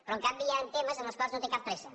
però en canvi hi han temes en els quals no té cap pressa